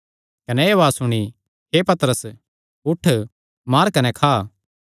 कने एह़ उआज़ सुणी हे पतरस उठ मार कने खा